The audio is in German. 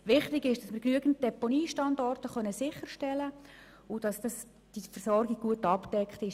Wichtig ist, dass wir genügend Deponiestandorte sicherstellen können und dass die Versorgung gut abgedeckt ist.